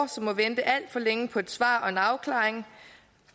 som må vente alt for længe på et svar og en afklaring